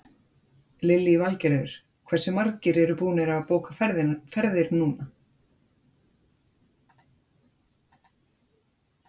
Lillý Valgerður: Hversu margir eru búnir að bóka ferðir núna?